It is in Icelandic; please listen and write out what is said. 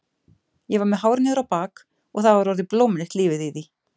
Ég var með hár niður á bak og það var orðið blómlegt lífið í því.